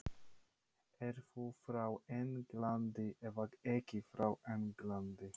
Ertu frá Englandi eða ekki frá Englandi?